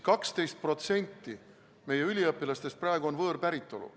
12% meie üliõpilastest praegu on võõrpäritolu.